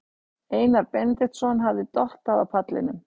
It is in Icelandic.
Einar Benediktsson hafði dottað á pallinum.